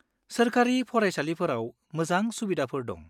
-सोरखारि फरायसालिफोराव मोजां सुबिदाफोर दं।